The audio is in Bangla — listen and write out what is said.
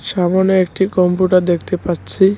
সামোনে একটি কম্পিউটার দেখতে পাচ্ছি।